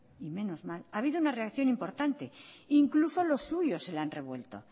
y menos mal ha habido una reacción importante incluso los suyos de le han revuelto